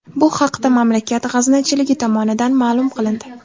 Bu haqda mamlakat g‘aznachiligi tomonidan ma’lum qilindi .